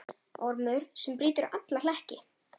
Ormur sem brýtur alla hlekki.